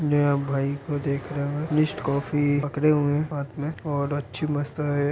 यहाँ भाई को देख रहे है। निस्टकॉफी पकड़े हुए है हाथ में और अच्छी मस्त है।